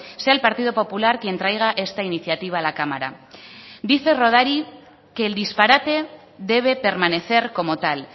sea el partido popular quien traiga esta iniciativa a la cámara dice rodari que el disparate debe permanecer como tal